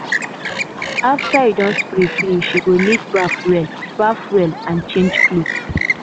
after you don spray finish you go need baff well baff well and change cloth.